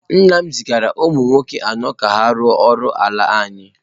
Nna m zigara ụmụ nwoke anọ ka ha rụọ ọrụ ala anyị.